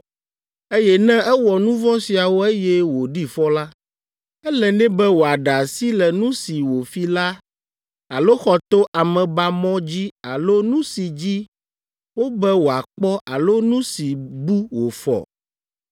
eye ne ewɔ nu vɔ̃ siawo eye wòɖi fɔ la, ele nɛ be wòaɖe asi le nu si wòfi la alo xɔ to amebamɔ dzi alo nu si dzi wobe wòakpɔ alo nu si bu wòfɔ